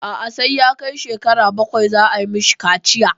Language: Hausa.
A'a sai ya kai shekara bakwai za a yi mishi kaciya.